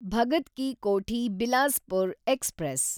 Bhagat Ki Kothi Bilaspur express